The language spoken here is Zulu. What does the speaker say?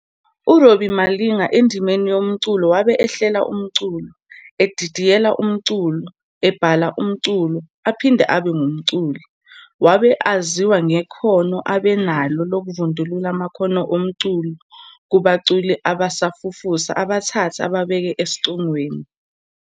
URobbie Malinga endimeni yomculo wabe ehlela umculo, edidiyela umculo, ebhala umculo, aphinde abe ngumculi. Wabe aziwa ngekhono abe enalo lokuvundulula amakhono omculo kubaculi abasafufusa abathathe ababeke esicongweni.